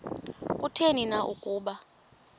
kutheni na ukuba